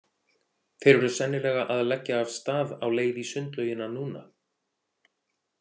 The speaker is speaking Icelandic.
Þeir eru sennilega að leggja af stað á leið í sundlaugina núna.